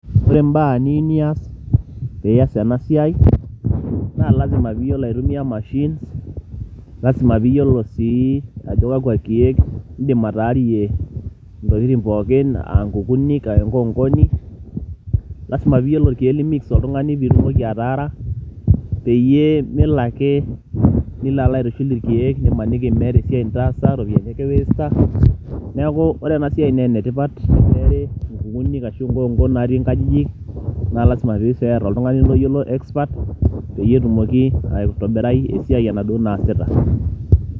Ore mbaa niyiu nias piyas ena siai naa lazima pee iyolou aitumia mashine, lazima piiyolo sii ajo kakua keek indim ataarie ntokitin pookin a nkukunik, enkonkoni lazima piiyolo irkeek li mix oltung'ani piitumoki ataara peyie melo ake nilo alo aitushul irkeek nimaniki meeta esiai nitaasa iropiani ake i waste a. Neeku ore ena siai naa ene tipat teneeri nkukunik ashu enkonko natii nkajijik naa lazima sii peeer oltung'ani loyiolo expert peyie etumoki aitobirai esiai enaduo naasita.